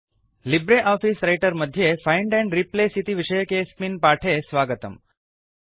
Libre Office Writer मध्ये find and replace इति विषयकेऽस्मिन् पाठे स्वागतम्